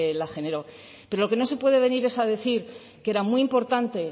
la generó pero lo que no se puede venir es a decir que era muy importante